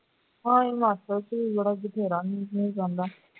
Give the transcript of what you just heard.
ਹਾਂ Himachal ਚ ਬਥੇਰਾ ਹੀ ਮੀਂਹ ਪੈਂਦਾ ਹੈ